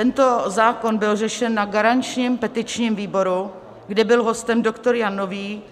Tento zákon byl řešen na garančním petičním výboru, kde byl hostem doktor Jan Nový,